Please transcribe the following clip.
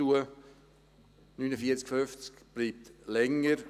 Das Gleis 49/50 bleibt länger.